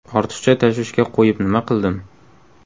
Ortiqcha tashvishga qo‘yib nima qildim.